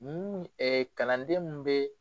Nu kalanden min bɛ